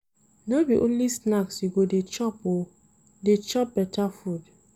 No be only snacks you go dey chop o, dey chop beta food.